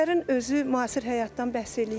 Əsərin özü müasir həyatdan bəhs eləyir.